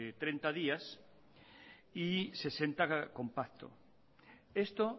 treinta días y sesenta compacto esto